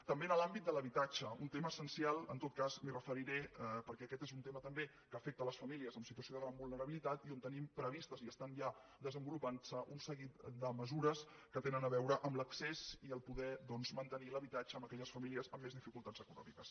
també en l’àmbit de l’habitatge un tema essencial en tot cas m’hi referiré perquè aquest és un tema també que afecta les famílies en situació de gran vulnerabilitat i on tenim previstes i estan ja desenvolupant se un seguit de mesures que tenen a veure amb l’accés i poder doncs mantenir l’habitatge en aquelles famílies amb més dificultats econòmiques